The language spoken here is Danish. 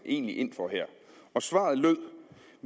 egentlig ind for her og svaret lød